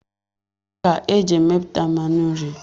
Akwụ ka eji emepụta mmanụ nri.